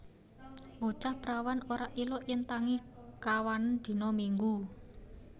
Bocah prawan ora ilok yen tangi kawanen dino Minggu